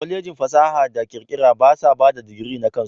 Kwalejin fasaha da kirkira basa bada digiri na kansu.